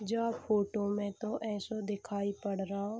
ज्यो फोटो में तो ऐसो दिखाई पढ़ रहो ।